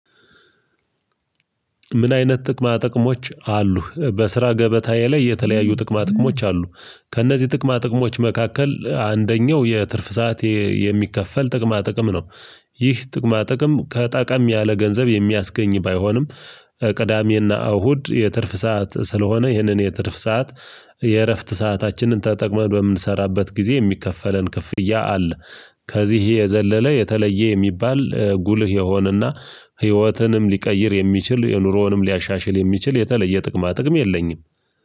ምን አይነት ጥቅማ ጥቅሞች አሉሀ? በስራ ገበታዬ ላይ የተለያዩ ጥቅማ ጥቅሞች አሉ። ከእነዚህ ጥቅማ ጥቅሞች መካከል አንደኛው የትርፍ ሰዓት የሚከፈል ጥቅማ ጥቅም ነው። ይህ ጥቅማ ጥቅም ከጠቀም ያለ ገንዘብ የሚያስገኝ ባይሆንም ቅዳሜና እሁድ የትርፍ ሰዓት ስለሆነ ይህንን የትርፍ ሰዓት የእረፍት ሰአታችንን ተጠቅመን በምንሰራበት ጊዜ የሚከፈለን ክፍያ አለ። ከዚህ የዘለለ የተለየ የሚባል ጉልህ የሆነና ህይወትንም ሊቀይር የሚችል የኑሮውንም ሊያሻሽል የሚችል የተለየ ጥቅማ ጥቅም የለኝም።